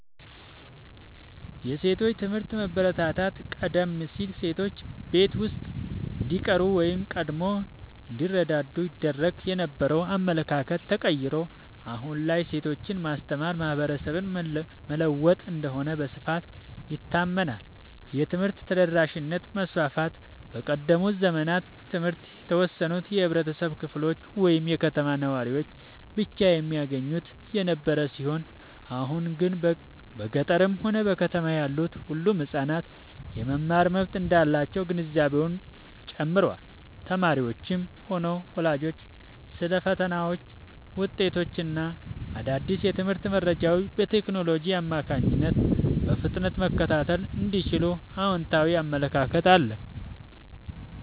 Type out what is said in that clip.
የሴቶች ትምህርት መበረታታት፦ ቀደም ሲል ሴቶች ቤት ውስጥ እንዲቀሩ ወይም ቀድመው እንዲዳሩ ይደረግ የነበረው አመለካከት ተቀይሮ፣ አሁን ላይ ሴቶችን ማስተማር ማህበረሰብን መለወጥ እንደሆነ በስፋት ይታመናል። የትምህርት ተደራሽነት መስፋፋት፦ በቀደሙት ዘመናት ትምህርት የተወሰኑ የህብረተሰብ ክፍሎች ወይም የከተማ ነዋሪዎች ብቻ የሚያገኙት የነበረ ሲሆን፣ አሁን ግን በገጠርም ሆነ በከተማ ያሉ ሁሉም ህጻናት የመማር መብት እንዳላቸው ግንዛቤው ጨምሯል። ተማሪዎችም ሆኑ ወላጆች ስለ ፈተናዎች፣ ውጤቶች እና አዳዲስ የትምህርት መረጃዎች በቴክኖሎጂ አማካኝነት በፍጥነት መከታተል እንደሚችሉ አዎንታዊ አመለካከት አለ።